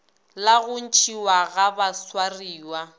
la go ntšhiwa ga baswariwa